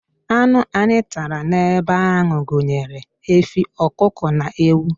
Anụ anyị tara n'ebe ahụ gụnyere efi, ọkụkọ na ewu.